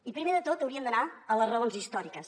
i primer de tot hauríem d’anar a les raons històriques